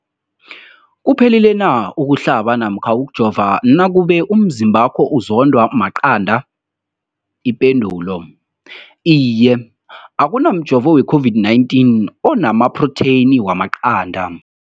Umbuzo, kuphephile na ukuhlaba namkha ukujova nakube umzimbakho uzondwa maqanda. Ipendulo, Iye. Akuna mjovo we-COVID-19 ona maphrotheyini wamaqanda.